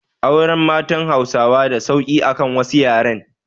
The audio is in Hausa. Auren matan Hausawa da sauki akan wasu yaren